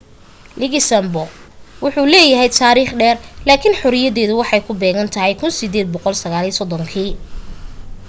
luxembourg wuxuu leeyahay taarikh dheer laakin xoriyadeedu waxay ku beegantahay 1839